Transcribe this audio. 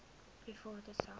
private sak